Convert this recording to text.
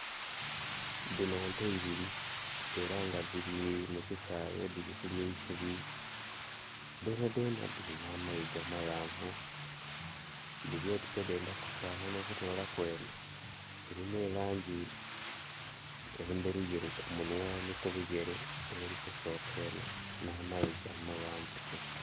Dhino nte ibili era nga dhiri mu kisaghe dhiri kulya eisubi. Dhona dhona dhirina amayiga amaghanvu. Dhili oti se dendha kufananha okutolaku enho erina e langi endheruyeru ku munhwa ni ku bigere, eri kusoka eno na mayiga amaghanvu.